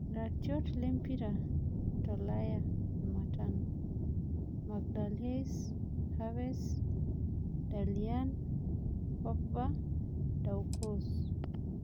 Iratiot lempira jtolaya Jumatano: Magahlhaes, Haverts, Dybala, Pogba, Doucoure